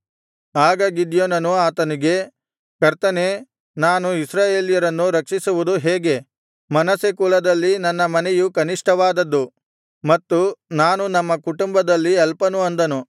ಆಗ ಗಿದ್ಯೋನನು ಆತನಿಗೆ ಕರ್ತನೇ ನಾನು ಇಸ್ರಾಯೇಲ್ಯರನ್ನು ರಕ್ಷಿಸುವುದು ಹೇಗೆ ಮನಸ್ಸೆ ಕುಲದಲ್ಲಿ ನನ್ನ ಮನೆಯು ಕನಿಷ್ಠವಾದದ್ದು ಮತ್ತು ನಾನು ನಮ್ಮ ಕುಟುಂಬದಲ್ಲಿ ಅಲ್ಪನು ಅಂದನು